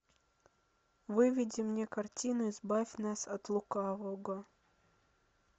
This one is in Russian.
выведи мне картину избавь нас от лукавого